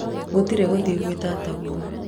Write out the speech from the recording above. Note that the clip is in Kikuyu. gũtirĩ gũthiĩ kũrĩ tataguo